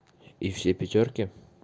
и все пятёрки